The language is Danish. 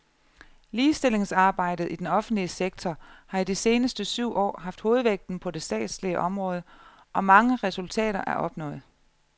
Ligestillingsarbejdet i den offentlige sektor har i de seneste syv år haft hovedvægten på det statslige område, og mange resultater er opnået.